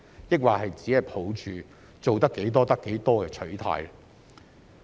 抑或只抱着"做得幾多得幾多"的取態？